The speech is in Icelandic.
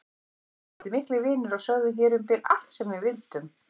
Við vorum orðin miklir vinir og sögðum hér um bil allt sem við vildum.